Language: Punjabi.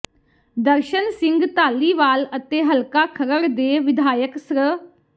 ਦਰਸ਼ਨ ਸਿੰਘ ਧਾਲੀਵਾਲ ਅਤੇ ਹਲਕਾ ਖਰੜ ਦੇ ਵਿਧਾਇਕ ਸ੍ਰ